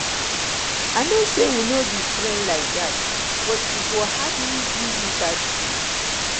i know say we no be friend like dat but e go hard me do you bad thing